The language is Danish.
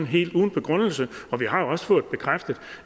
helt uden begrundelse og vi har jo også fået bekræftet